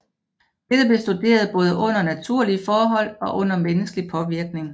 Dette bliver studeret både under naturlige forhold og under menneskelig påvirkning